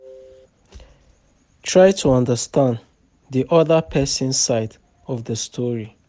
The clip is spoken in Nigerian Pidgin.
Try to understand di oda person side of di story